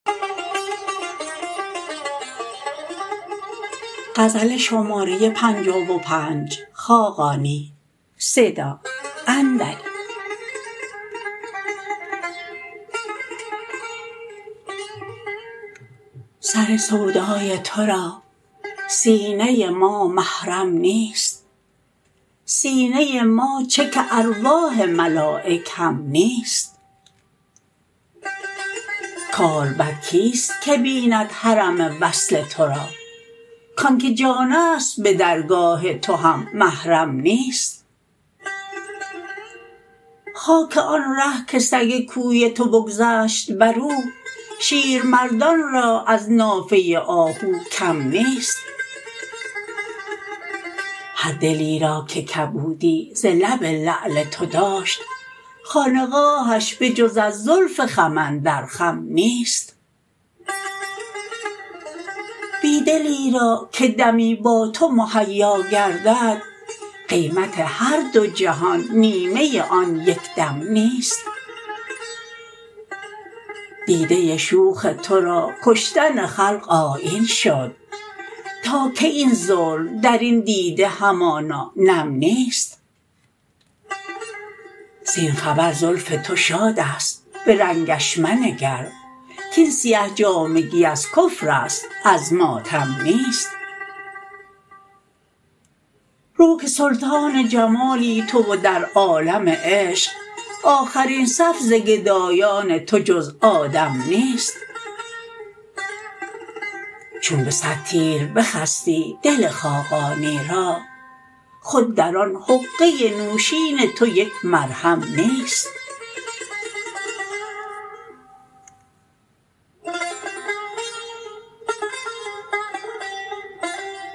سر سودای تو را سینه ما محرم نیست سینه ما چه که ارواح ملایک هم نیست کالبد کیست که بیند حرم وصل تو را کانکه جان است به درگاه تو هم محرم نیست خاک آن ره که سگ کوی تو بگذشت بر او شیر مردان را از نافه آهو کم نیست هر دلی را که کبودی ز لب لعل تو داشت خانقاهش بجز از زلف خم اندر خم نیست بی دلی را که دمی با تو مهیا گردد قیمت هر دو جهان نیمه آن یک دم نیست دیده شوخ تو را کشتن خلق آیین شد تا کی این ظلم در این دیده همانا نم نیست زین خبر زلف تو شاد است به رنگش منگر کاین سیه جامگی از کفر است از ماتم نیست رو که سلطان جمالی تو و در عالم عشق آخرین صف ز گدایان تو جز آدم نیست چون به صد تیر بخستی دل خاقانی را خود در آن حقه نوشین تو یک مرهم نیست